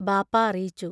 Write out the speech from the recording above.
ബാപ്പാ അറിയിച്ചു.